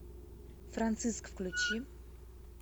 франциск включи